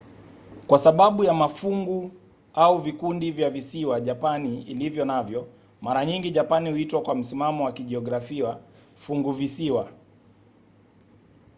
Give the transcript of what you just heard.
kwa sababu ya mafungu/vikundi vya visiwa japani ilivyo navyo mara nyingi japani huitwa kwa msimamo wa kijiografia funguvisiwa